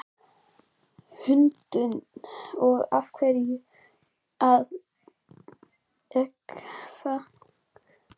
Hrund: Og af hverju að gefa páskaegg?